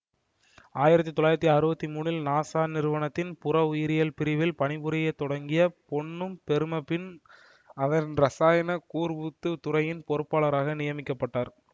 ஆயிரத்தி தொள்ளாயிரத்தி அறுபத்தி மூன்றில் நாசா நிறுவனத்தின் புறஉயிரியல் பிரிவில் பணி புரிய தொடங்கிய பொன்னம்பெரும பின் அதன் இரசாயன கூர்ப்புத்து துறையின் பொறுப்பாளராக நியமிக்க பட்டார்